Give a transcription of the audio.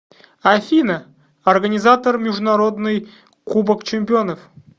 афина организатор международный кубок чемпионов